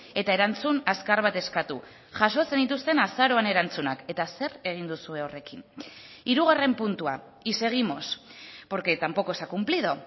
eta erantzun azkar bat eskatu jaso zenituzten azaroan erantzunak eta zer egin duzue horrekin hirugarren puntua y seguimos porque tampoco se ha cumplido